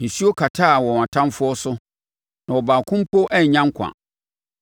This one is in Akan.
Nsuo kataa wɔn atamfoɔ so; na ɔbaako mpo annya nkwa.